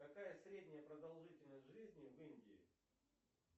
какая средняя продолжительность жизни в индии